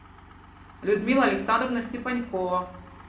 людмила александровна степанькова